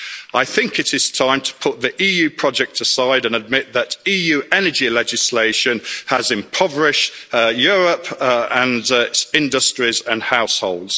I think it is time to put the EU project aside and admit that EU energy legislation has impoverished Europe and its industries and households.